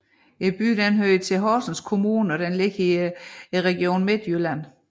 Byen hører til Horsens Kommune og ligger i Region Midtjylland